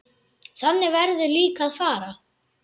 Þannig verður líka að fara.